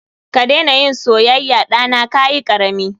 Kadena yin soyaya Dana kayikarami.